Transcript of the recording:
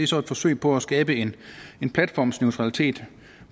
så et forsøg på at skabe en platformsneutralitet